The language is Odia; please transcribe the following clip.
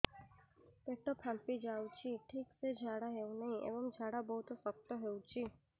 ପେଟ ଫାମ୍ପି ଯାଉଛି ଠିକ ସେ ଝାଡା ହେଉନାହିଁ ଏବଂ ଝାଡା ବହୁତ ଶକ୍ତ ହେଉଛି